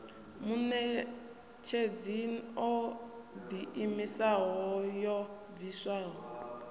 muṋetshedzi o ḓiimisaho yo bviswaho